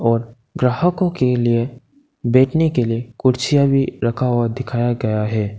और ग्राहकों के लिए बैठने के लिए कुर्सियां भी रखा हुआ दिखाया गया है।